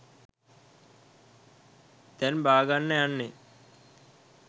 දැන් බාගන්න යන්නේ.